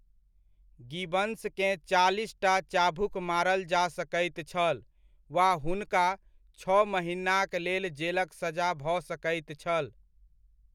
गिबन्सकेँ चालीसटा चाभुक मारल जा सकैत छल वा हुनका छओ महिनाक लेल जेलक सजा भऽ सकैत छल।